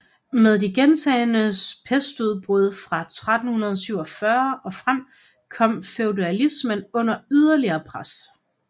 Med de gentagne pestudbrud fra 1347 og frem kom feudalismen under yderligere pres